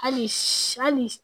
Hali sa hali